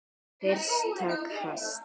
Fyrsta kast